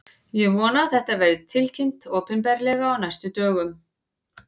Ég vona að þetta verði tilkynnt opinberlega á næstu dögum.